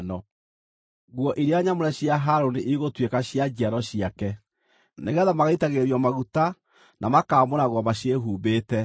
“Nguo iria nyamũre cia Harũni igũtuĩka cia njiaro ciake, nĩgeetha magaitagĩrĩrio maguta na makaamũragwo maciĩhumbĩte.